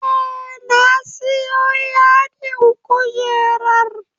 Eh na siyo yadin kujerar